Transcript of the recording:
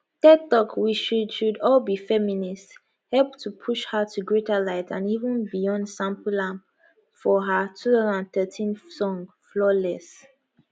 ted talk we should should all be feminists help to push her to greater light and even beyonc sample am for her 2013 song flawless